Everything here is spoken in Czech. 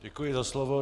Děkuji za slovo.